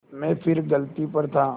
मैं फिर गलती पर था